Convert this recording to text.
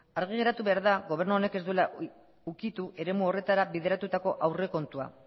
argi geratu behar da gobernu honek ez duela ukitu eremu horretara bideratutako aurrekontua